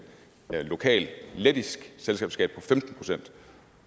lokal lettisk selskabsskat